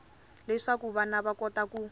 leswaku vana va kota ku